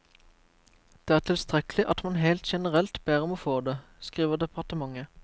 Det er tilstrekkelig at man helt generelt ber om å få det, skriver departementet.